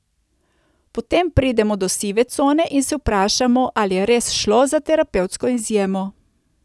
Potem pridemo do sive cone in se vprašamo, ali je res šlo za terapevtsko izjemo.